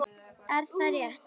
Er það rétt??